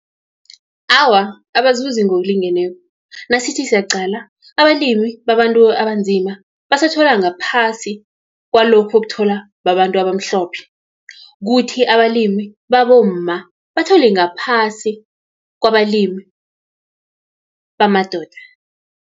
Awa, abazuzi ngokulingeneko, nasithi siyaqala, abalimi babantu abanzima, basathola ngaphasi kwalokhu okutholwa babantu abamhlophe. Kuthi abalimi babomma, bathole ngaphasi kwabalimi bamadoda.